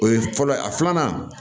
O ye fɔlɔ ye a filanan